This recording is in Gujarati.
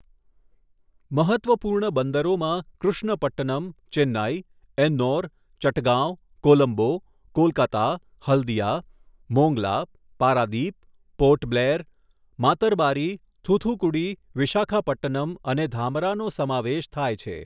મહત્ત્વપૂર્ણ બંદરોમાં કૃષ્ણપટ્ટનમ, ચેન્નઈ, એન્નોર, ચટગાંવ, કોલંબો, કોલકાતા હલ્દીયા, મોંગલા, પારાદીપ, પોર્ટ બ્લેર, માતરબારી, થૂથુકુડી, વિશાખાપટ્ટનમ અને ધામરાનો સમાવેશ થાય છે.